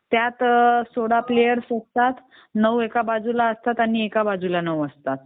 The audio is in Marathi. त्यात सोळा प्लेअर असतात. नऊ एका बाजूला आणि एका बाजूला नऊ असतात.